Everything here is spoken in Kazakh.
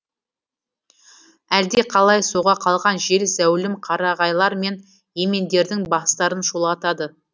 әлдеқалай соға қалған жел зәулім қарағайлар мен емендердің бастарын шулатады